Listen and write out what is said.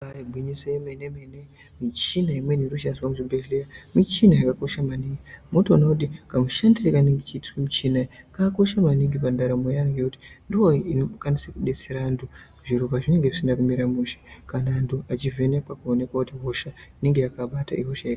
Ibari gwinyiso remene mene michini imweni inoshandiswa muzvibhedhlera michina yakakosha maningi ngekuti vanoti kamushini kakosha maningi pandaramo yevantu ngekuti ndiyo inodetsera vantu zviro pazvinenge zvisina kumira mushe kana antu achivhenekwa kuonekwa kuti hosha inenge yakabata hosha iya.